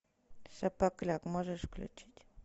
шапокляк можешь включить